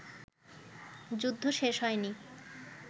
যুদ্ধ শেষ হয়নি